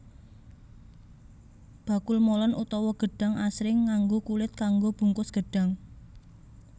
Bakul molen utawa gedhang asring nganggo kulit kanggo bungkus gedhang